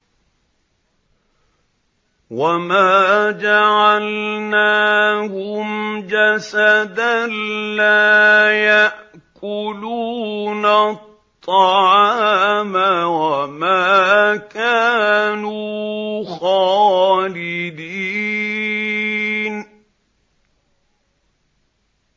وَمَا جَعَلْنَاهُمْ جَسَدًا لَّا يَأْكُلُونَ الطَّعَامَ وَمَا كَانُوا خَالِدِينَ